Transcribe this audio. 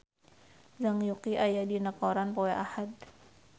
Zhang Yuqi aya dina koran poe Ahad